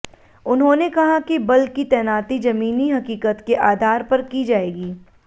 उन्होंने कहा कि बल की तैनाती जमीनी हकीकत के आधार पर की जाएगी